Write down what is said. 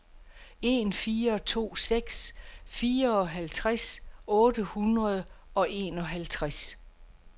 en fire to seks fireoghalvtreds otte hundrede og enoghalvtreds